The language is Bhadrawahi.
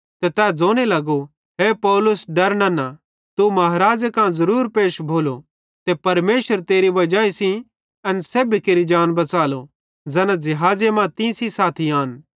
ते तै ज़ोने लगो हे पौलुस डर नन्ना तू महाराज़े कां ज़रूर पैश भोलो ते परमेशर तेरी वजाई सेइं एन सेब्भी केरि जान बच़ालो ज़ैना ज़िहाज़े मां तीं सेइं साथी आन